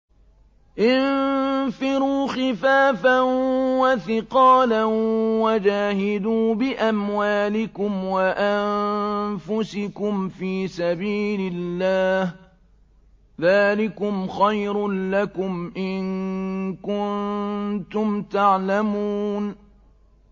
انفِرُوا خِفَافًا وَثِقَالًا وَجَاهِدُوا بِأَمْوَالِكُمْ وَأَنفُسِكُمْ فِي سَبِيلِ اللَّهِ ۚ ذَٰلِكُمْ خَيْرٌ لَّكُمْ إِن كُنتُمْ تَعْلَمُونَ